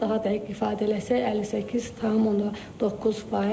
Daha dəqiq ifadə eləsək, 58,9%.